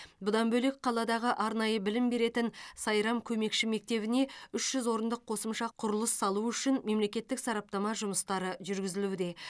бұдан бөлек қаладағы арнайы білім беретін сайрам көмекші мектебіне үш жүз орындық қосымша құрылыс салу үшін мемлекеттік сараптама жұмыстары жүргізілуде